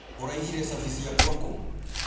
ũraigire cabi ciakwa kũũ?